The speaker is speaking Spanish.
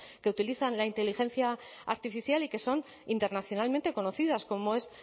que utilizan la inteligencia artificial y que son internacionalmente conocidas como es